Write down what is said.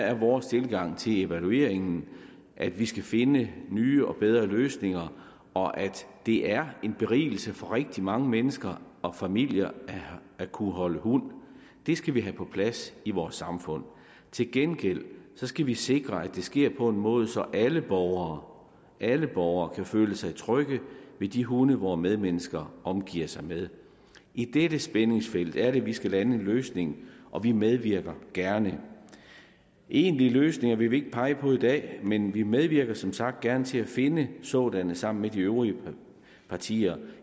er vores tilgang til evalueringen at vi skal finde nye og bedre løsninger og at det er en berigelse for rigtig mange mennesker og familier at kunne holde hund det skal vi have på plads i vores samfund til gengæld skal vi sikre at det sker på en måde så alle borgere alle borgere kan føle sig trygge ved de hunde vore medmennesker omgiver sig med i dette spændingsfelt er det at vi skal lande en løsning og vi medvirker gerne egentlige løsninger vil vi ikke pege på i dag men vi medvirker som sagt gerne til at finde sådanne sammen med de øvrige partier